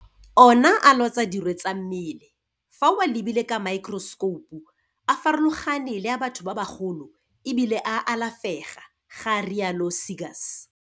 Ona a lwatsa dirwe tsa mmele, fa o a lebile ka maekerosekoupu a farologane le a batho ba bagolo e bile a alafega, ga rialo Seegers.